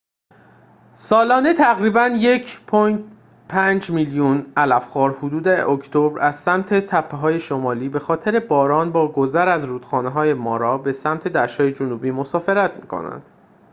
سالانه تقریباً ۱.۵ میلیون علف‌خوار حدود اکتبر از سمت تپه‌های شمالی بخاطر باران با گذر از رودخانه مارا به سمت دشت‌های جنوبی مسافرت می‌کنند